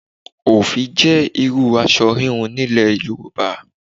Òfì jẹ́ irúu aṣọ híhun nílẹ̀ Yorùbá.